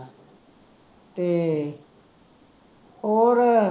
ਤੇ ਹੋਰ